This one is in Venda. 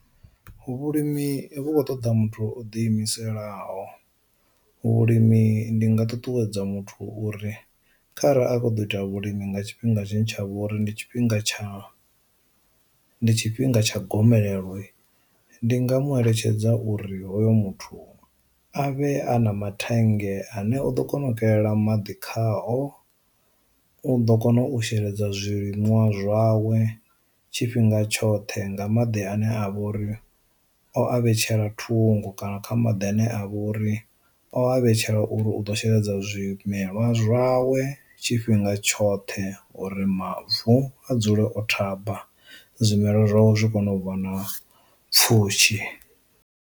Vhulimi vhu khou ṱoḓa muthu o diimiselaho, vhulimi ndi nga ṱuṱuwedza muthu uri kharali a kho ḓo ita vhulimi nga tshifhinga tshine tsha vhori ndi tshifhinga tsha ndi tshifhinga tsha gomelelo, ndi nga mu eletshedza uri hoyo muthu a vhe a na mathenga e ane u ḓo kona u kelela maḓi khakhao, u ḓo kona u sheledza zwiliṅwa zwawe tshifhinga tshoṱhe nga maḓi ane a vha uri o a vhetshela ṱhungo kana kha maḓi ane a vha uri o vhetshela uri u ḓo sheledza zwimelwa zwawe tshifhinga tshoṱhe uri mavu a dzule o thaba zwimelwa zwavho zwi kone u vha na pfushi.